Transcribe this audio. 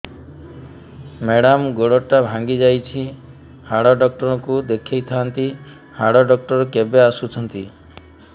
madam ଗୋଡ ଟା ଭାଙ୍ଗି ଯାଇଛି ହାଡ ଡକ୍ଟର ଙ୍କୁ ଦେଖାଇ ଥାଆନ୍ତି ହାଡ ଡକ୍ଟର କେବେ ଆସୁଛନ୍ତି